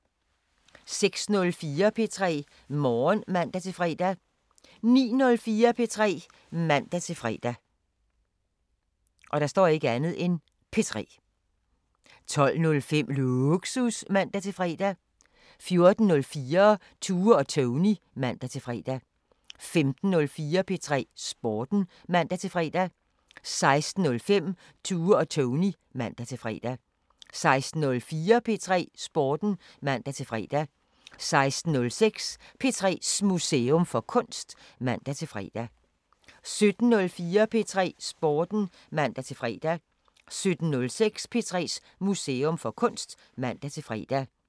06:04: P3 Morgen (man-fre) 09:04: P3 (man-fre) 12:05: Lågsus (man-fre) 14:04: Tue og Tony (man-fre) 15:04: P3 Sporten (man-fre) 15:06: Tue og Tony (man-fre) 16:04: P3 Sporten (man-fre) 16:06: P3s Museum for Kunst (man-fre) 17:04: P3 Sporten (man-fre) 17:06: P3s Museum for Kunst (man-fre)